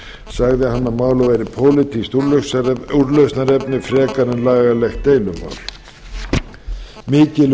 færeyja og grænlands og raunar álandseyja að norðurlandaráði sagði hann að málið væri pólitískt úrlausnarefni frekar en lagalegt deilumál mikil